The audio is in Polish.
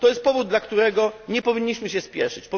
To jest powód, dla którego nie powinniśmy się śpieszyć.